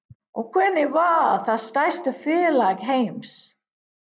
Og hvernig varð það stærsta félag heims?